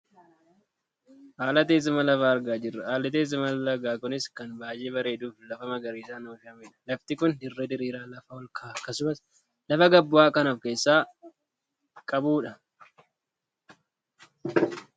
Haala teessuma lafaa argaa jirra . Haalli teesuma lagaa kunis kan baayyee bareeduufi lafa magariisaan uwwifamedha. Lafti kun dirree diriiraa, lafa ol ka'aa akkasumas lafa gad bu'aa kan of keessaa qabudha.